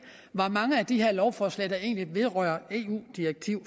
hvor mange af de her lovforslag der egentlig vedrører eu direktiver